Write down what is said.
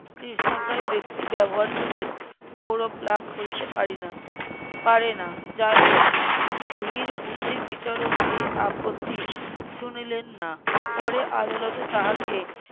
কৃষ্ণকায় ব্যাক্তি গৌরব লাভ করিতে পারি না, পারে না, যাই হোক, ধীর বুদ্ধি বিচারক এই আপত্তি শুনিলেন না পরে আদালতে তাহাঁকে,